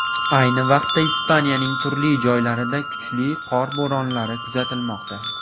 Ayni vaqtda Ispaniyaning turli joylarida kuchli qor bo‘ronlari kuzatilmoqda.